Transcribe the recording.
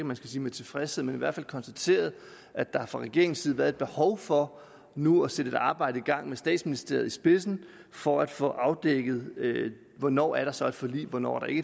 man skal sige med tilfredshed men i hvert fald konstateret at der fra regeringens været et behov for nu at sætte et arbejde i gang med statsministeriet i spidsen for at få afdækket hvornår der så er et forlig og hvornår der ikke